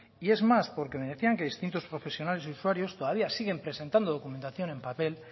y es más porque me decían que distintos profesionales y usuarios todavía siguen presentando documentación en papel